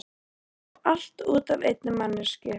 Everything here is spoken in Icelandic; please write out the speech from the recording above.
Og allt út af einni manneskju.